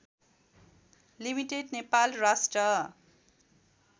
limited Nepal राष्ट्र